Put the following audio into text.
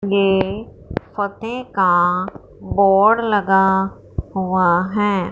ये फतेह का बोर्ड लगा हुआ हैं।